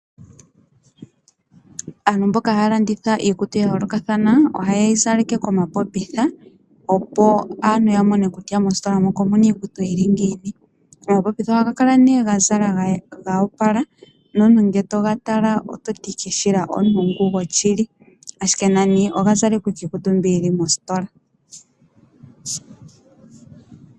Aantu mboka haya landitha iikutu ya yoolokathana oha ye yizaleke komapopitha opo aantu ya mone kutya mositola moka omuna iikutu yili ngiini. Omapopitha ohaga kala ga zala goopala nomuntu ngele to ga tala ototi owala omuntu gwoshili ashike oga zalekwa owala iikutu mbi yili mositola.